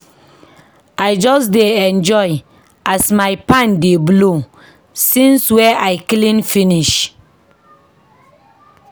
I just dey enjoy as my fan dey blow since wey I clean finish.